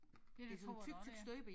Ja det tror jeg da også det er